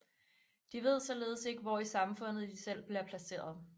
De ved således ikke hvor i samfundet de selv bliver placeret